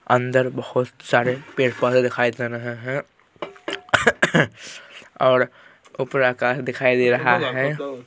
अंदर बहुत सारे पेड़ पौधे दिखाई दे रहे हैं और ऊपर आकाश दिखाई दे रहा है ।